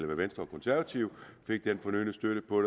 med venstre og konservative fik den fornødne støtte på